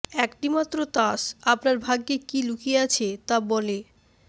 একটি মাত্র তাস আপনার ভাগ্যে কী লুকিয়ে আছে তা বলে